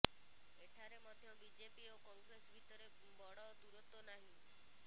ଏଠାରେ ମଧ୍ୟ ବିଜେପି ଓ କଂଗ୍ରେସ ଭିତରେ ବଡ଼ ଦୂରତ୍ବ ନାହିଁ